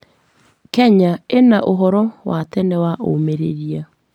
Kenya ĩna ũhoro wa tene wa ũmĩrĩria.